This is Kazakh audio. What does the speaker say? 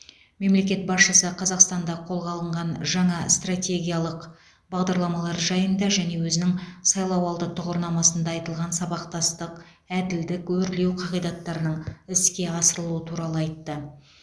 мемлекет басшысы қазақстанда қолға алынған жаңа стратегиялық бағдарламалар жайында және өзінің сайлауалды тұғырнамасында айтылған сабақтастық әділдік өрлеу қағидаттарының іске асырылуы туралы айтты